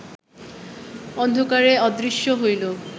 অন্ধকারে অদৃশ্য হইল